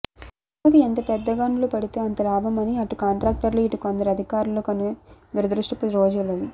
చెరువలకు ఎంతపెద్దగండ్లు పడితే అంత లాభం అని అటుకాంట్రాక్టర్లు ఇటుకొందరు అధికారులనుకునే దురదృష్టపు రోజలివి